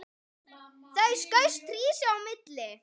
Þá skaust Hrísey á milli.